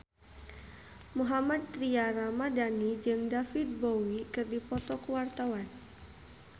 Mohammad Tria Ramadhani jeung David Bowie keur dipoto ku wartawan